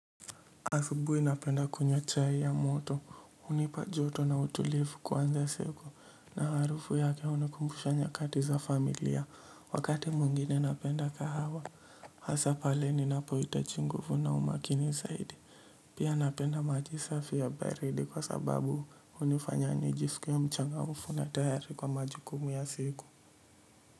Asubuhi napenda kunywa chai ya moto hunipa joto na utulivu kuanza siku na harufu yake hunikumbusha nyakati za familia wakati mwingine napenda kahawa hasa pale ninapohitaji nguvu na umakini zaidi pia napenda maji safi ya baridi kwa sababu hunifanya nijisikie mchangamfu na tayari kwa majukumu ya siku.